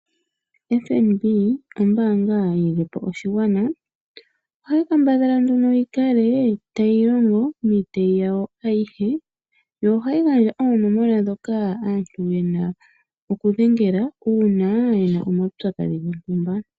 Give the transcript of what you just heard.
FNB ombaanga yi lilepo oshigwana. Ohayi kambadhala nduno yi kale tayi longo miitayi yawo ayihe, yo ohayi gandja oonomola dhoka aantu yena oku dhengela uuna yena omaupyakadhi gontumba.